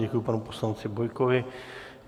Děkuji panu poslanci Bojkovi.